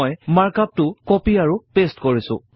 মই mark up টো copy আৰু পেইষ্ট কৰিছো